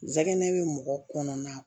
Nsɛgɛ bɛ mɔgɔ kɔnɔna